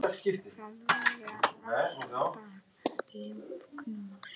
Það voru alltaf ljúf knús.